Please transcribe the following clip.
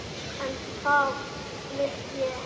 En það vil ég gera.